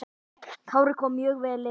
Kári kom mjög vel inn.